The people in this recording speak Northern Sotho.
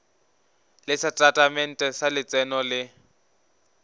le setatamente sa letseno le